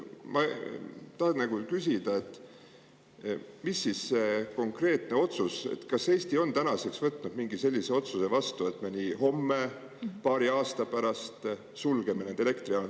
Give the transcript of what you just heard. Ma tahan küsida, milline on siis see konkreetne otsus või kas Eesti on tänaseks võtnud mingi sellise otsuse vastu, et me nii homme, paari aasta pärast sulgeme need elektrijaamad.